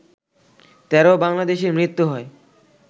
১৩ বাংলাদেশির মৃত্যু হয়